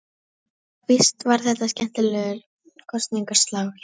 Já, víst var þetta skemmtilegur kosningaslagur.